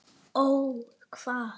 Ó hvað?